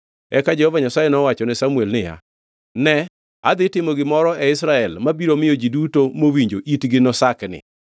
Eka Jehova Nyasaye nowachone Samuel niya, “Ne adhi timo gimoro e Israel mabiro miyo ji duto mowinjo itgi nosakni.